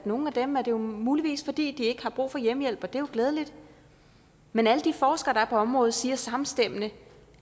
nogle af dem er det muligvis fordi de ikke har brug for hjemmehjælp og det er glædeligt men alle de forskere der er på området siger samstemmende